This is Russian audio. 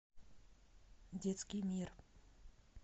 детский мир